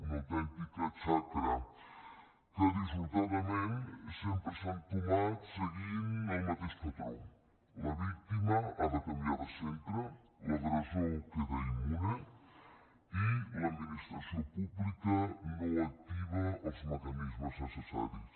una autèntica xacra que dissortadament sempre s’ha entomat seguint el mateix patró la víctima ha de canviar de centre l’agressor queda immune i l’administració pública no activa els mecanismes necessaris